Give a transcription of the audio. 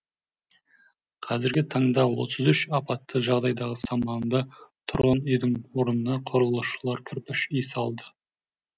қазіргі таңда отыз үш апатты жағдайдағы саманды тұрғын үйдің орнына құрылысшылар кірпіш үй салды